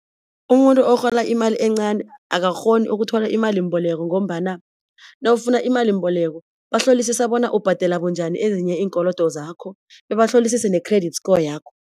Umuntu arhola imali encani akakghoni ukuthola imalimboleko ngombana nawufuna imalimbeleko bahlolisisa bona ubhadela bunjani ezinye iinkolodo zakho bebahlolisise ne-credit score yakho.